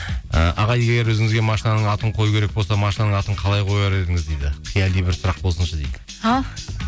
ы аға егер өзіңізге машинаның атын қою керек болса машинаның атын қалай қояр едіңіз дейді қияли бір сұрақ болсыншы дейді ал